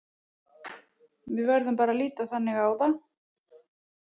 Við verðum bara að líta á það þannig.